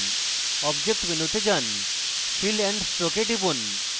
object মেনুতে যান fill and stroke এ টিপুন